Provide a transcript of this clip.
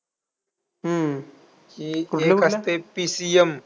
हम्म एक असते PCM.